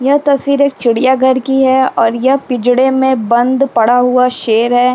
यह तस्वीर एक चिड़ियाघर की है और यह पिंजड़े में बंद पड़ा हुआ शेर हैं।